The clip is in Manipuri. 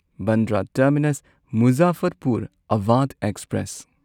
Bandra terminus Muzaffarpur Awadh express